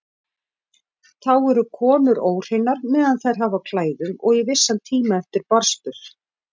Þá eru konur óhreinar meðan þær hafa á klæðum og í vissan tíma eftir barnsburð.